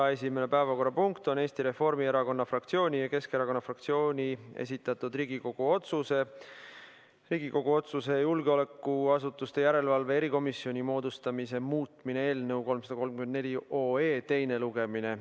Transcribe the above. Esimene päevakorrapunkt on Eesti Reformierakonna fraktsiooni ja Keskerakonna fraktsiooni esitatud Riigikogu otsuse "Riigikogu otsuse "Julgeolekuasutuste järelevalve erikomisjoni moodustamine" muutmine" eelnõu 334 teine lugemine.